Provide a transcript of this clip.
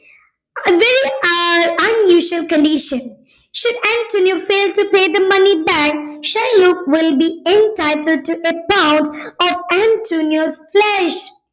uh unusual condition should Antonio fails to pay the money back Shylock will be entitle to account of antonio's flesh